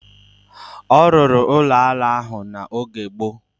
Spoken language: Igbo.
A rụrụ ụlọ ala ahụ n'oge gboo